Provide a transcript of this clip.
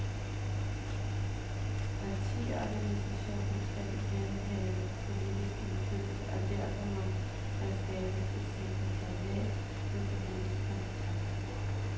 Partiorganisationen skal igen have politisk indflydelse, og derfor må der skabes et sekretariat med politisk kompetence.